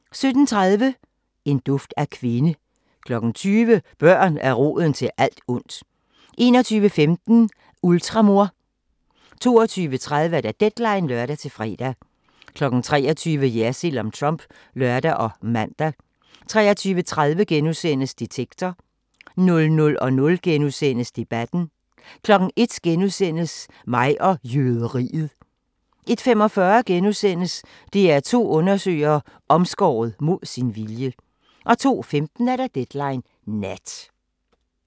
17:30: En duft af kvinde 20:00: Børn er roden til alt ondt 21:15: Ultramor 22:30: Deadline (lør-fre) 23:00: Jersild om Trump (lør og man) 23:30: Detektor * 00:00: Debatten * 01:00: Mig og jøderiet * 01:45: DR2 undersøger: Omskåret mod sin vilje * 02:15: Deadline Nat